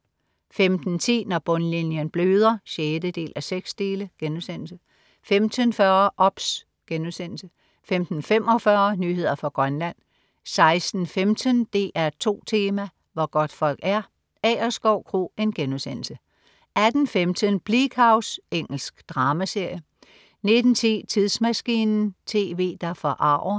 15.10 Når bundlinjen bløder 6:6* 15.40 OBS* 15.45 Nyheder fra Grønland 16.15 DR2 Tema: Hvor godtfolk er, Agerskov Kro* 18.15 Bleak House. Engelsk dramaserie 19.10 Tidsmaskinen, TV, der forarger